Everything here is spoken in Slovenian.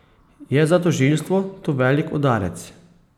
Je za tožilstvo to velik udarec?